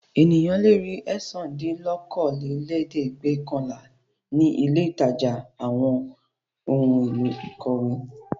Ènìyàn le ri ẹ̀sándínlókòólẹ́ẹ̀dẹ́gbẹ́ọ̀kànlá ní ilé-ìtajà àwọn ohun-èlò ìkọ̀wé.